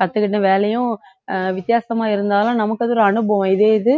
கத்துக்கிட்ட வேலையும் அஹ் வித்தியாசமா இருந்தாலும் நமக்கு அது ஒரு அனுபவம் இதே இது